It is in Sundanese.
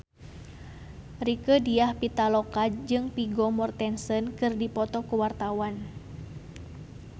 Rieke Diah Pitaloka jeung Vigo Mortensen keur dipoto ku wartawan